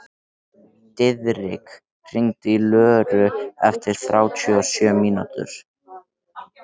Diðrik, hringdu í Löru eftir þrjátíu og sjö mínútur.